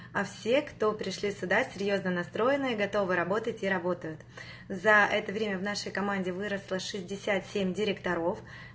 а все кто пришли сюда серьёзно настроены и готовы работать и работают за это время в нашей команде выросло шестьдесят семь директоров